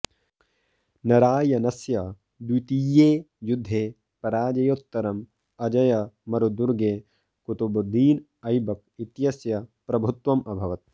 नरायनस्य द्वितीये युद्धे पराजयोत्तरम् अजयमरुदुर्गे कुतुबुद्दीन ऐबक् इत्यस्य प्रभुत्वम् अभवत्